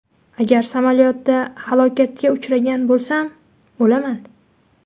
Agar samolyotda halokatga uchragan bo‘lsam, o‘laman.